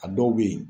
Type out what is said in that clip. A dɔw bɛ yen